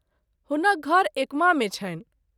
हुनक घर एकमा मे छनि।